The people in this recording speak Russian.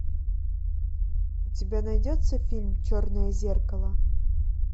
у тебя найдется фильм черное зеркало